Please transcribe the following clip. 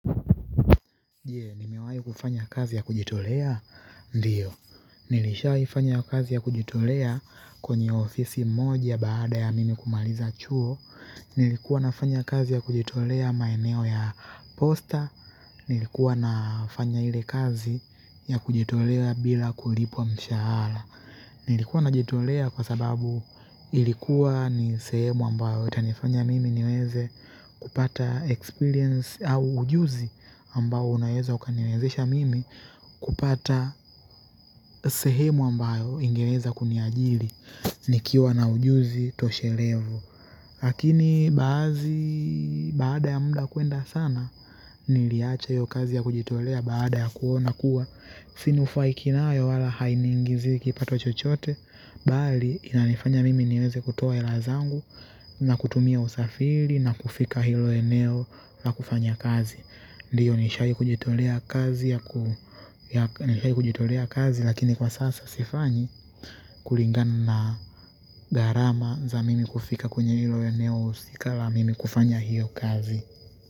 Nimewai kufanya kazi ya kujitolea? Ndio, nilishawi fanya kazi ya kujitolea kwenye ofisi moja baada ya mimi kumaliza chuo nilikuwa nafanya kazi ya kujitolea maeneo ya posta, nilikuwa nafanya ile kazi ya kujitolea bila kulipwa mshahara nilikuwa najitolea kwa sababu ilikua ni sehemu ambayo itanifanya mimi ni weze kupata experience au ujuzi ambao unaweza kuniwezesha mimi kupata sehemu ambayo ingeweza kuniajili nikiwa na ujuzi toshelevu. Lakini baazi baada ya muda kuenda sana niliacha hiyo kazi ya kujitolea baada ya kuona kuwa sinufaiki nayo wala hainingizi kipato chochote bali inanifanya mimi niweze kutoa hela zangu na kutumia usafiri na kufika hilo eneo na kufanya kazi ndio nishawahi kujitolea kazi lakini kwa sasa sifanyi kulingana na gharama za mimi kufika kwenye hilo eneo husika la mimi kufanya hiyo kazi.